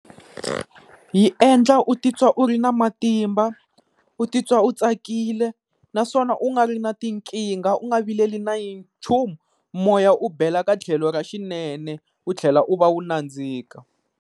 Yi endla u titwa u ri na matimba, u titwa u tsakile naswona u nga ri na tinkingha u nga vileli na nchumu moya u bela ka tlhelo ra xinene u tlhela u va u nandzika.